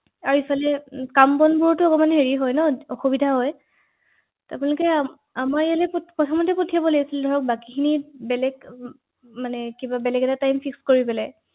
হয় হয় ও হয় হয় নিশ্চিত ভাৱে.